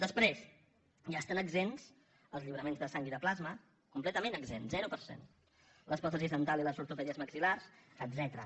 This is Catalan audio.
després ja n’estan exempts els lliuraments de sang i de plasma completament exempts zero per cent les pròtesis dentals i les ortopèdies maxil·lars etcètera